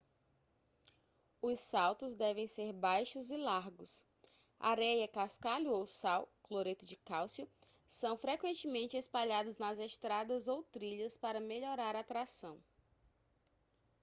os saltos devem ser baixos e largos. areia cascalho ou sal cloreto de cálcio são frequentemente espalhados nas estradas ou trilhas para melhorar a tração